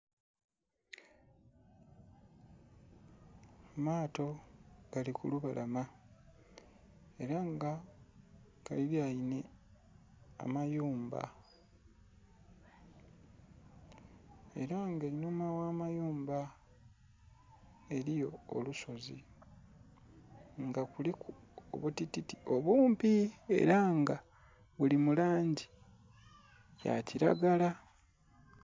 Amaato agali kulu balama era nga galilenhe amayumba, era nga enhuma oghamayumba eriyo olusozi nga kuliku obutititi obumpi buli mulangi ya kilagala.